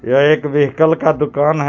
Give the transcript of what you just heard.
यह एक व्हीकल का दुकान है. जीस--